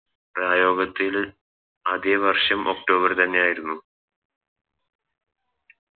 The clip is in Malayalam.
പ്രയോഗത്തിൽ അതെ വർഷം October തന്നെയായിരുന്നു